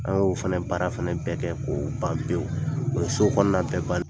An y'o fana baara bɛɛ kɛ k'o ban pewu o so kɔnɔna bɛɛ bannen.